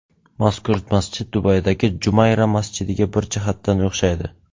Mazkur masjid Dubaydagi Jumayra masjidiga bir jihatdan o‘xshaydi.